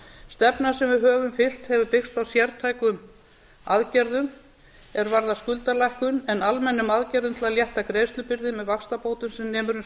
stefnan sem við höfum fylgt hefur byggst á sértækum aðgerðum er varðar skuldalækkun en almennum aðgerðum til að létta greiðslubyrði með vaxtabótum sem nemur um